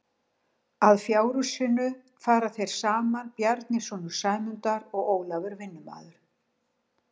Að fjárhúsinu fara þeir saman Bjarni sonur Sæmundar og Ólafur vinnumaður.